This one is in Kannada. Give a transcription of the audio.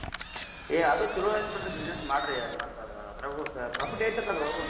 ಏ ಅದು ಚೊಲೋ ಆತ್ ಬಿಡ್ರಿ business ಮಾಡ್ರಿ ಮತ್ ಅದ್~ ಅದ್ರಾಗು profit ಐತ್ ಅಂತ್ ಅದ್ರ್ ಒಳಗು.